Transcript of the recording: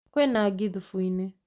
Kwĩna ngi thubuinĩ